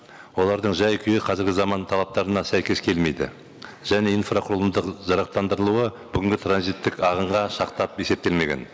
олардың жай күйі қазіргі заман талаптарына сәйкес келмейді және инфрақұрылымдық жарақтандырылуы бүгінгі транзиттік ағынға шақтап есептелмеген